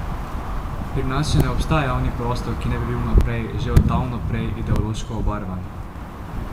Pri nas še ne obstaja javni prostor, ki ne bi bil vnaprej, že od davno prej, ideološko obarvan.